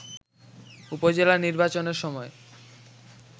উপজেলা নির্বাচনের সময়